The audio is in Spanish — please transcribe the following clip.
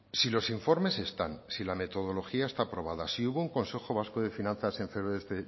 si los informes están si la metodología está aprobada si hubo un consejo vasco de finanzas en febrero